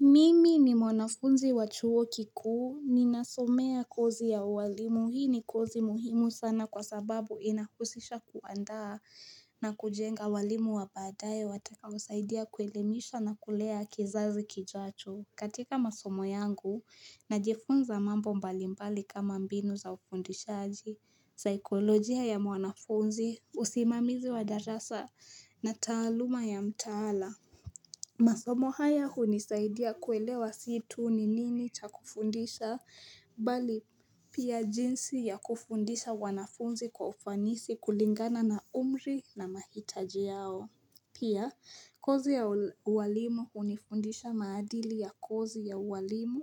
Mimi ni mwanafunzi wa chuo kikuu ninasomea kozi ya ualimu. Hii ni kozi muhimu sana kwa sababu inahusisha kuandaa na kujenga walimu wa baadaye watakaousaidia kuelemisha na kulea kizazi kijacho. Katika masomo yangu najifunza mambo mbalimbali kama mbinu za ufundishaji, saikolojia ya mwanafunzi usimamizi wa darasa na taaluma ya mtaala masomo haya hunisaidia kuelewa si tu ni nini cha kufundisha, bali pia jinsi ya kufundisha wanafunzi kwa ufanisi kulingana na umri na mahitaji yao. Pia, kozi ya ualimu hunifundisha maadili ya kozi ya ualimu